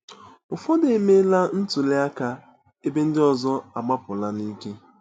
Ụfọdụ emela ntuli aka, ebe ndị ọzọ agbapụla n'ike.